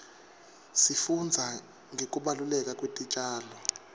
sifundza ngekubaluleka kwetitjalo